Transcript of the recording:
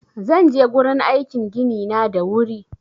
Zan je gurin aikin gini na da wuri